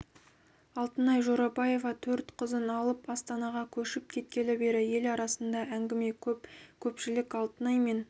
алтынай жорабаева төрт қызын алып астанаға көшіп кеткелі бері ел арасында әңгіме көп көпшілік алтынай мен